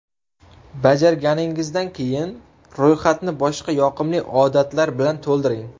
Bajarganingizdan keyin, ro‘yxatni boshqa yoqimli odatlar bilan to‘ldiring.